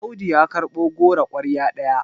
Audu ya karɓo goro kwarya ɗaya